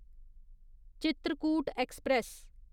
Chitrakoot express